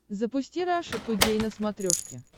запусти раша тудей на смотрешке